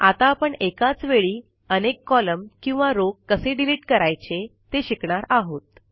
आता आपण एकाच वेळी अनेक कॉलम किंवा रो कसे डिलिट करायचे ते शिकणार आहोत